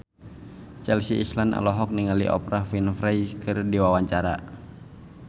Chelsea Islan olohok ningali Oprah Winfrey keur diwawancara